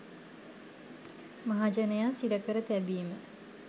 මහජනයා සිරකර තැබීම